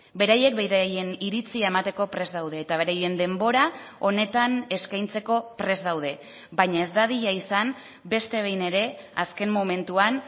beraiek beraien iritzia emateko prest daude eta beraien denbora honetan eskaintzeko prest daude baina ez dadila izan beste behin ere azken momentuan